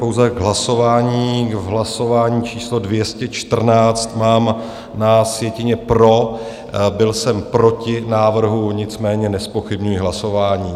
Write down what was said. Pouze k hlasování - v hlasování číslo 214 mám na sjetině pro, byl jsem proti návrhu, nicméně nezpochybňuji hlasování.